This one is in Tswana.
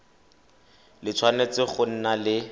le tshwanetse go nna le